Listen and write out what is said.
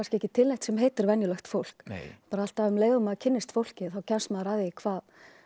ekki til neitt sem heitir venjulegt fólk bara alltaf um leið og maður kynnist fólki þá kemst maður að því hvað